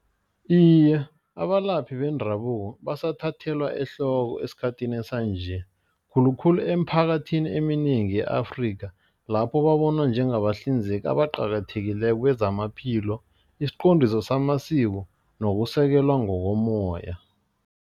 Iye, abalaphi bendabuko basathathelwa ehloko esikhathini sanje. Khulukhulu eemphakathini eminingi ye-Afrika lapho babonwa njengabahlinzeki abaqakathekileko kwezamaphilo, isiqondiso samasiko nokusekela ngokomoya.